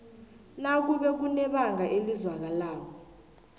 nakube kunebanga elizwakalako